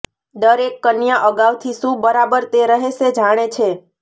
દરેક કન્યા અગાઉથી શું બરાબર તે રહેશે જાણે છે